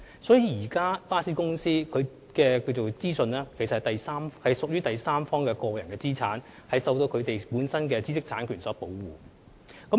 所以，巴士公司的資訊屬第三方個人資產，必須受到本身的知識產權所保護。